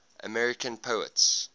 american poets